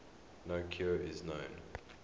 no cure is known